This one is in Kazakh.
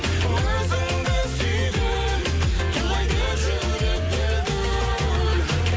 өзіңді сүйген тулайды жүрек дүл дүл